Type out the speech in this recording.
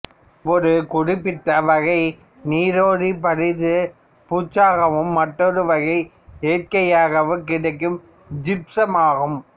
ஒரு குறிப்பிட்ட வகை நீரேறி பாரிசு பூச்சாகவும் மற்றொரு வகை இயற்கையாகக் கிடைக்கும் ஜிப்சமும் ஆகும்